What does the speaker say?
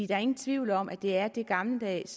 der er ingen tvivl om at det er det gammeldags